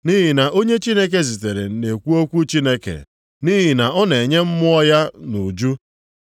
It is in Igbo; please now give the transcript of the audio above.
Nʼihi na onye Chineke zitere na-ekwu okwu Chineke. Nʼihi na ọ na-enye Mmụọ ya nʼuju.